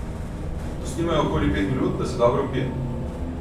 Pustimo jo okoli pet minut, da se dobro vpije.